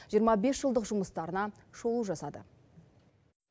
жиырма бес жылдық жұмыстарына шолу жасады